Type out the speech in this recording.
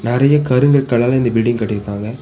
நறய கருங்கற்களால இந்த பில்டிங் கட்டிருக்காங்க.